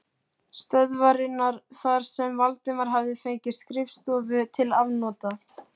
stöðvarinnar þar sem Valdimar hafði fengið skrifstofu til afnota.